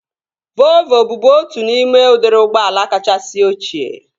Volvo bụbu otu n'ime udiri ụgbọala kachasị ochie